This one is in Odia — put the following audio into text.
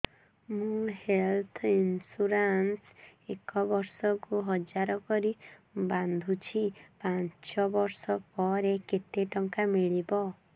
ମୁ ହେଲ୍ଥ ଇନ୍ସୁରାନ୍ସ ଏକ ବର୍ଷକୁ ହଜାର କରି ବାନ୍ଧୁଛି ପାଞ୍ଚ ବର୍ଷ ପରେ କେତେ ଟଙ୍କା ମିଳିବ